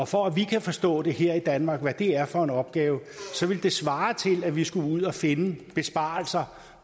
for at vi kan forstå her i danmark hvad det er for en opgave så ville det svare til at vi skulle ud og finde besparelser